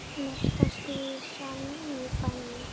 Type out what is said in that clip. Mesta skvísan í bænum.